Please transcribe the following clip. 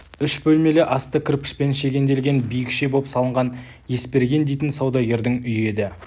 үш бөлмелі асты кірпішпен шегенделген биікше боп салынған есберген дейтін саудагердің үйі еді